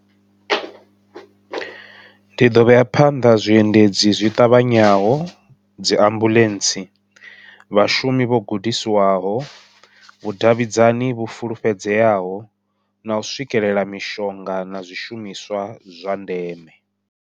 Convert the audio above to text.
Ndi ḓo vheya phanḓa zwi endedzi zwi ṱavhanyaho, dzi ambuḽentse, vhashumi vho gudisiwaho, vhudavhidzani vhu fulufhedzeaho, nau swikelela mishonga na zwishumiswa zwa ndeme.